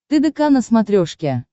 тдк на смотрешке